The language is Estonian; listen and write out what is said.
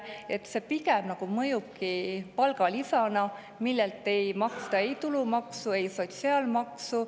pigem mõjubki palgalisana, millelt ei maksta ei tulumaksu ega sotsiaalmaksu.